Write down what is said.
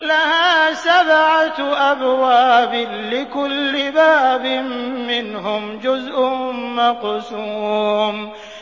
لَهَا سَبْعَةُ أَبْوَابٍ لِّكُلِّ بَابٍ مِّنْهُمْ جُزْءٌ مَّقْسُومٌ